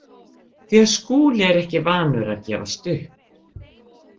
Því að Skúli er ekki vanur að gefast upp.